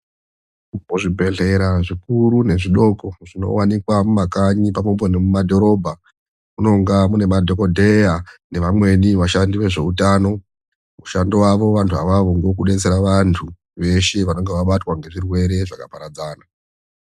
Kuzvibhehlera zvikuru nezvidoko zvinowanikwa mumakanyi, pamwepo nemadhorobha, munonga mune madhokodheya nevamweni vashandi vezveutano. Mushando wavo vantu avavo ngewe kudetsera vantu veshe vanonge vabatwa ngezvirwere zvakaparadzana.